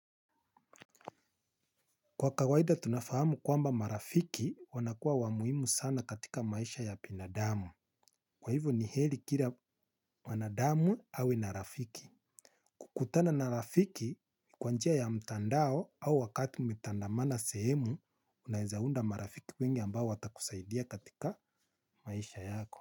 Kwa kawaida tunafahamu kwamba marafiki wanakua wa muhimu sana katika maisha ya binadamu. Kwa hivyo ni heri kila mwanadamu awe na rafiki. Kukutana na rafiki kwa njia ya mtandao au wakati mtanda mana sehemu unaezaunda marafiki wengi ambao watakusaidia katika maisha yako.